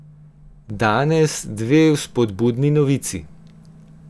Danes dve vzpodbudni novici.